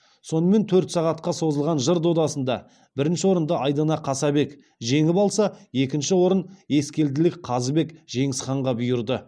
сонымен төрт сағатқа созылған жыр додасында бірінші орынды айдана қасабек жеңіп алса екінші орын ескелділік қазыбек жеңісханға бұйырды